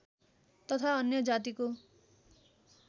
तथा अन्य जातिको